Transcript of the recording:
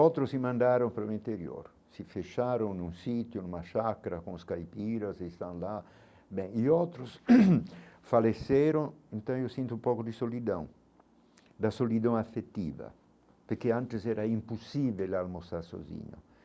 Outros se mandaram para o interior, se fecharam num sítio, numa chácara, com os caipiras, estão lá, bem, e outros faleceram, então eu sinto um pouco de solidão, da solidão afetiva, porque antes era impossível almoçar sozinho.